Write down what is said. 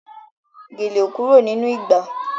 Gèlè ò kúrò nínú ìgbà